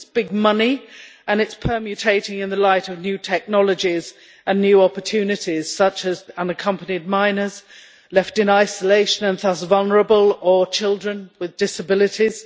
It is big money and it is permutating in the light of new technologies and new opportunities, such as unaccompanied minors left in isolation and thus vulnerable, or children with disabilities.